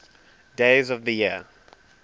days of the year